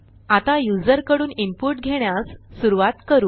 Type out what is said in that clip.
आता युजरकडून इनपुट घेण्यास सुरूवात करू